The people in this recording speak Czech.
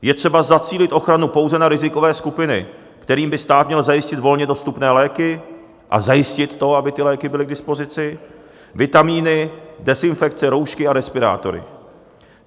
Je třeba zacílit ochranu pouze na rizikové skupiny, kterým by stát měl zajistit volně dostupné léky a zajistit to, aby ty léky byly k dispozici, vitaminy, dezinfekci, roušky a respirátory.